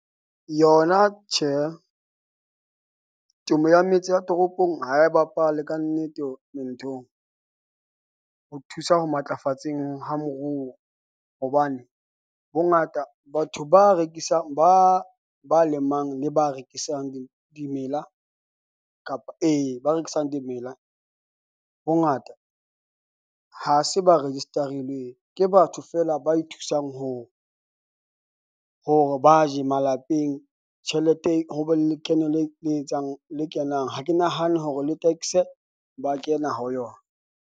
Yona tjhe, temo ya metse ya toropong ha e bapale kannete nthong . Ho thusa ho matlafatseng ha moruo. Hobane bongata, batho ba rekisang, ba ba lemang, le ba rekisang dimela kapa e, ba rekisang dimela. Bongata ha se ba register-ilweng. Ke batho feela, ba ithusang ho hore ba je malapeng. Tjhelete ho be le lekeno le le etsang le kenang ha ke nahane hore le tax-e ba kena ho yona.